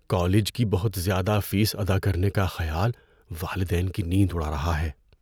College کی بہت زیادہ فیس ادا کرنے کا خیال والدین کی نیند اڑا رہا ہے۔